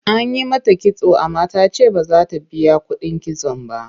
An yi mata kitso amma ta ce ba za ta biya kuɗin kitson ba.